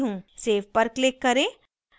save पर click करें